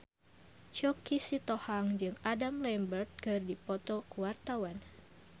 Choky Sitohang jeung Adam Lambert keur dipoto ku wartawan